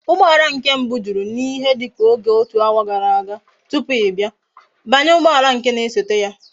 Ugboala nke mbu juru na ihe dika otu hour gara aga tupu i bia, banye ugboala nke na esote ya!